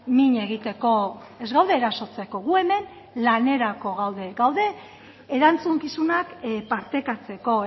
min egiteko ez gaude erasotzeko gu hemen lanerako gaude gaude erantzukizunak partekatzeko